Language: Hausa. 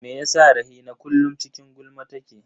Me yasa Rahina kullum cikin gulma take?